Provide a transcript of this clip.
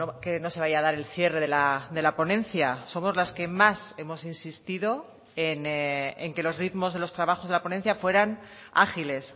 que no se vaya a dar el cierre de la ponencia somos las que más hemos insistido en que los ritmos de los trabajos de la ponencia fueran ágiles